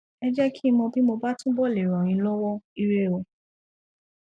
ẹ jẹh kí n mọ bí mo bá túbọ le ràn yín lọwọ ire o